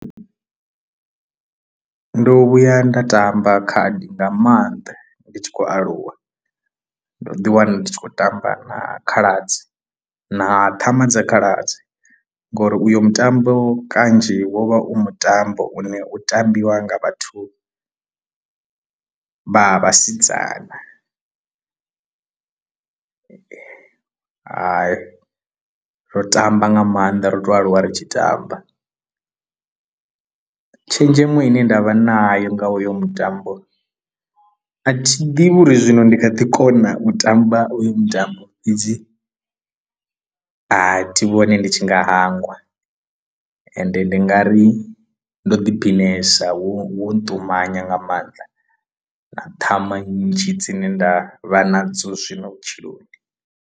Ndo vhuya nda tamba khadi nga maanḓa ndi tshi khou aluwa ndo ḓi wana ndi tshi khou tamba na khaladzi na ṱhama dza khaladzi ngori uyo mutambo kanzhi wo vha u mutambo u ne u tambiwa nga vhathu vha vhasidzana ro tamba nga maanḓa ro to aluwa ri tshi tamba. Tshenzhemo ine nda vha nayo nga hoyo mutambo a thi ḓivhi uri zwino ndi kha ḓi kona u tamba hoyo mutambo fhedzi a thi vhoni ndi tshi tshi nga hangwa ende ndi nga ri ndo ḓi phinesa wo nṱumanya nga maanḓa na ṱhama nnzhi dzine nda vha nadzo zwino vhutshiloni.